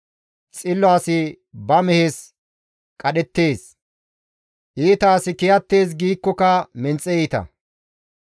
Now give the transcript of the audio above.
Xillo asi ba mehes qadhettees; iita asi kiyattees giikkoka menxe iita.